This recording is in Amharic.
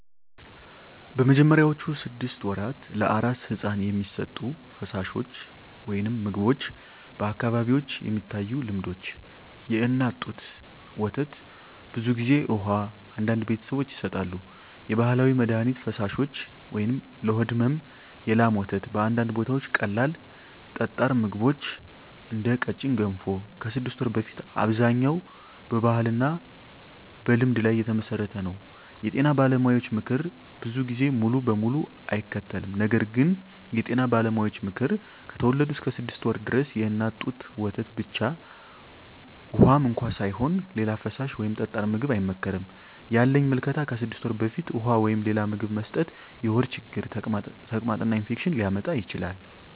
በመጀመሪያዎቹ 6 ወራት ለአራስ ሕፃን የሚሰጡ ፈሳሾች/ምግቦች በአካባቢዎች የሚታዩ ልምዶች፦ የእናት ጡት ወተት (ብዙ ጊዜ) ውሃ (አንዳንድ ቤተሰቦች ይሰጣሉ) የባህላዊ መድሀኒት ፈሳሾች (ለሆድ ሕመም) የላም ወተት (በአንዳንድ ቦታዎች) ቀላል ጠጣር ምግቦች (እንደ ቀጭን ገንፎ) ከ6 ወር በፊት አብዛኛው በባህልና በልምድ ላይ የተመሠረተ ነው የጤና ባለሙያዎች ምክር ብዙ ጊዜ ሙሉ በሙሉ አይከተልም ነገር ግን የጤና ባለሙያዎች ምክር፦ ከተወለዱ እስከ 6 ወር ድረስ የእናት ጡት ወተት ብቻ (ውሃም እንኳ ሳይሆን) ሌላ ፈሳሽ ወይም ጠጣር ምግብ አይመከርም ያለኝ ምልከታ ከ6 ወር በፊት ውሃ ወይም ሌላ ምግብ መስጠት የሆድ ችግር፣ ተቅማጥ እና ኢንፌክሽን ሊያመጣ ይችላል